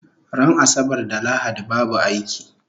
Ran asabar da lahadi babu aiki